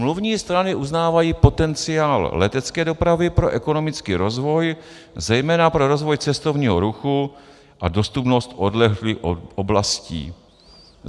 Smluvní strany uznávají potenciál letecké dopravy pro ekonomický rozvoj, zejména pro rozvoj cestovního ruchu a dostupnost odlehlých oblastí.